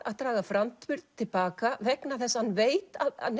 að draga framburð til baka vegna þess að hann veit að